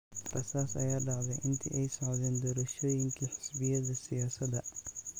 Rasaas ayaa dhacday intii ay socdeen doorashooyinkii xisbiyada siyaasadda.